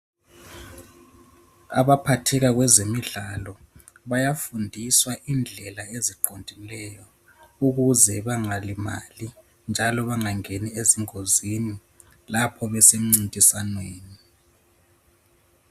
Abaphatheka kwezemidlalo bayafundiswa indlela eziqondileyo ukuze bangalimali njalo bangangeni ezingozini lapho besemncintiswaneni.